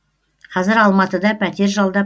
қазір алматыда пәтер жалдап